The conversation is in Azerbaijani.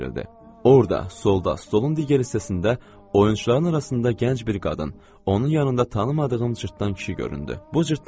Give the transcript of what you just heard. Orada, solda, stolun digər hissəsində oyunçuların arasında gənc bir qadın, onun yanında tanımadığım cırtdan kişi göründü.